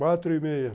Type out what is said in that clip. Quatro e meia.